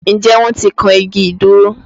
Ǹjẹ́ wọn ti kan igi ìdúró?